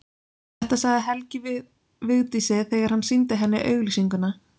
Þetta sagði Helgi við Vigdísi þegar hann sýndi henni auglýsinguna.